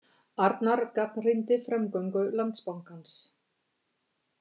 Arnar gagnrýndi framgöngu Landsbankans